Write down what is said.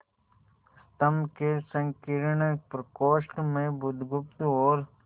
स्तंभ के संकीर्ण प्रकोष्ठ में बुधगुप्त और